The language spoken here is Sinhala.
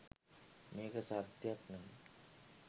මේක සත්‍යයක් නම්